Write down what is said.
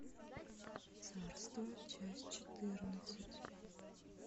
царство часть четырнадцать